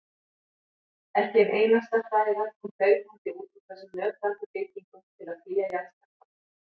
Ekki ein einasta hræða kom hlaupandi út úr þessum nötrandi byggingum til að flýja jarðskjálftann.